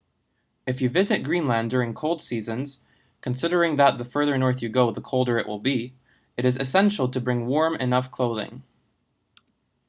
if you visit greenland during cold seasons considering that the further north you go the colder it will be it is essential to bring warm enough clothing